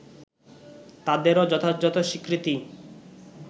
তাদেরও যথাযথ স্বীকৃতি